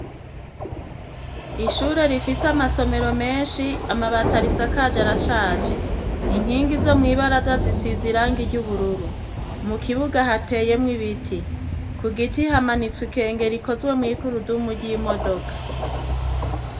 Ishure rifise amasomero menshi, amabati arisakaje arashaje. Inkingi zo mw'ibaraza zisize irangi ry' ubururu. Mu kibuga hatemwo ibiti. Ku giti hamanitswe ikengiri rikozwe mw' igurudumu ry' imodoka.